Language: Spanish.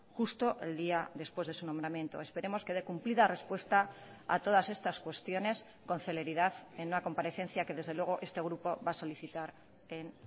justo el día después de su nombramiento esperemos que dé cumplida respuesta a todas estas cuestiones con celeridad en una comparecencia que desde luego este grupo va a solicitar en